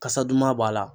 Kasa duman b'a la